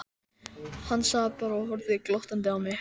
Hann sat bara og horfði glottandi á mig.